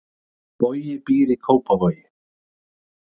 Bogi býr í Kópavogi.